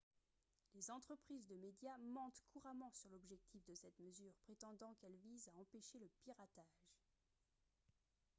les entreprises de médias mentent couramment sur l'objectif de cette mesure prétendant qu'elle vise à « empêcher le piratage »